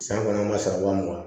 San kɔnɔ an ma sara ba mugan